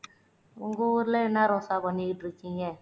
உங்க ஊர்ல என்ன ரோசா பண்ணிட்டு இருக்கீங்க